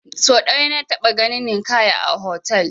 Sau ɗaya na taɓa ganin Ninkaya fotel